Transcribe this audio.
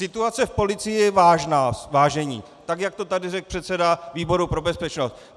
Situace v policii je vážná, vážení, tak jak to tady řekl předseda výboru pro bezpečnost.